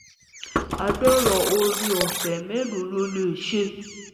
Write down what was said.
ore ọfẹ́ melo lo le se